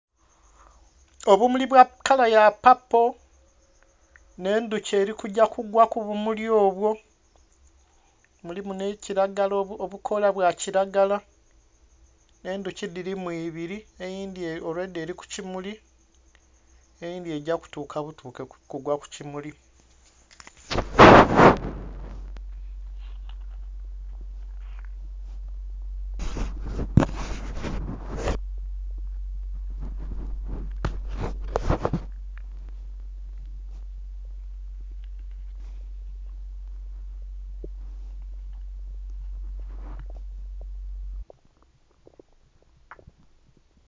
Obumuli bwa kala ya paapo nh'endhuki eli kugya kugwa ku bumuli obwo, mulimu nhi kilagala, obukoola bwa kilagala, endhuki dhilimu ibili, eyindhi already eli ku kimuli, eyindhi egya kutuuka butuuke kugwa ku kimuli.